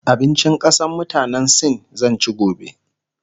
abincin ƙasan mutanan sin zan ci gobe